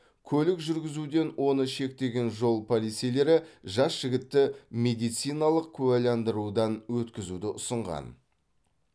көлік жүргізуден оны шектеген жол полицейлері жас жігітті медициналық куәландырудан өткізуді ұсынған